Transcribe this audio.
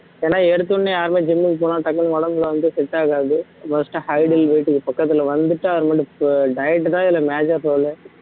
ஏன்னா எடுத்த உடனே யாருமே gym க்கு போனா டக்குனு உடம்புல வந்து set ஆகாது first height and weight க்கு பக்கத்துல வந்துட்டு diet தான் இதுல major role லே